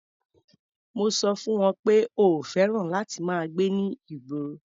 Mo sọ fún wọn pé o ò fẹ́ràn láti máa gbé ní ìgborr.